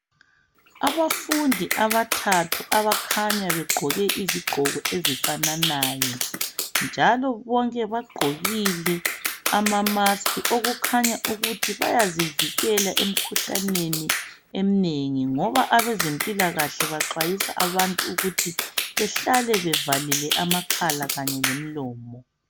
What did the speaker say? Abafundi abathathu abakhanya begqoke izigqoko ezifananayo, njalo bonke bagqokile amamaski, okukhanya ukuthi bayazivikela emikhuhlaneni eminengi ngoba abezempilakahle baxwayisa abantu ukuthi behlale bevalile amakhala kanye lemlomo.